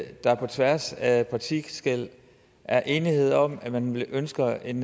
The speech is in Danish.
der på tværs af partiskel er enighed om at man ønsker en